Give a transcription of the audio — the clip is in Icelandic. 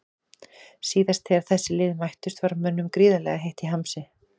Síðast þegar þessi lið mættust var mönnum gríðarlega heitt í hamsi.